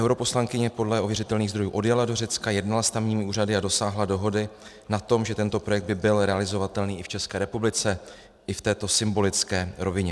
Europoslankyně podle ověřitelných zdrojů odjela do Řecka, jednala s tamními úřady a dosáhla dohody na tom, že tento projekt by byl realizovatelný i v České republice i v této symbolické rovině.